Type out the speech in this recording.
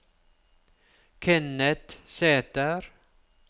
Kenneth Sæther